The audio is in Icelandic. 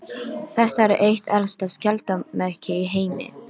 Þetta er eitt elsta skjaldarmerki í heimi.